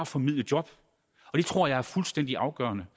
formidle job og det tror jeg er fuldstændig afgørende